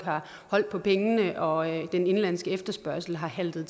har holdt på pengene og at den indenlandske efterspørgsel har haltet